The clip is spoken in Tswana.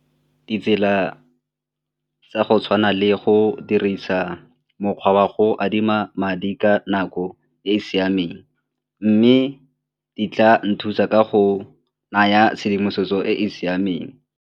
Ditsela tsa go tshwana le go dirisa mokgwa wa go adima madi ka nako e e siameng mme di tla nthusa ka go naya tshedimosetso e e siameng.